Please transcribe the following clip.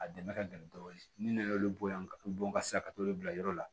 A dɛmɛ ka gɛlɛn dɔɔnin ni nan'olu ye olu bɔn ka siran ka t'olu bila yɔrɔ la